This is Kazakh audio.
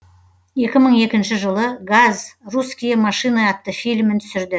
екі мың екінші жылы газ русские машины атты фильмін түсірді